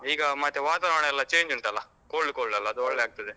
ಈಗ ಮತ್ತೆ ವಾತಾವರಣ ಎಲ್ಲ change ಉಂಟಲ್ಲಾ, cold cold ಅಲ್ಲ ಅದು ಒಳ್ಳೆ ಆಗ್ತದೆ.